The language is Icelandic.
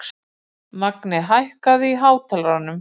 Magni, hækkaðu í hátalaranum.